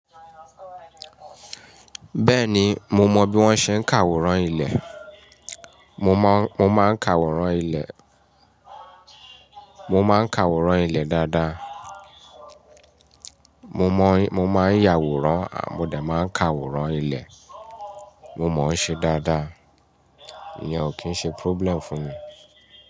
Bẹ́ẹ̀ni, mo mọ bí wọ́n ṣe ń ka àwòrán ilẹ̀. Mo máa ń ka àwòrán ilẹ̀. Mo máa ń ka àwòrán ilẹ̀ dáadáa. Mo mọ, mo máa ń yàwòrán à mo dà máa ń ka àwòrán ilẹ̀. Mo mọ ohun ṣe dáadáa. Ìyẹn ò kí ń ṣe problem fún mi.